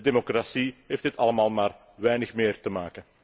Met democratie heeft dit allemaal maar weinig meer te maken.